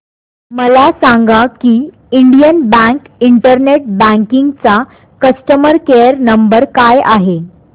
मला सांगा की इंडियन बँक इंटरनेट बँकिंग चा कस्टमर केयर नंबर काय आहे